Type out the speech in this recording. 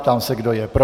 Ptám se, kdo je pro.